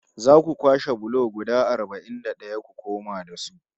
Za ku kwashe bulo guda arba'in da ɗaya ku koma da su